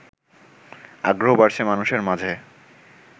আগ্রহ বাড়ছে মানুষের মাঝে